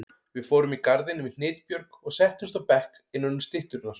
Við fórum í garðinn við Hnitbjörg og settumst á bekk innanum stytturnar.